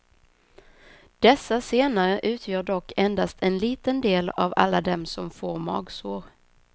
Dessa senare utgör dock endast en liten del av alla dem som får magsår.